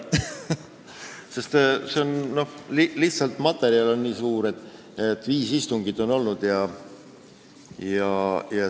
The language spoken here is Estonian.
Materjal on lihtsalt nii suur, viis istungit on olnud.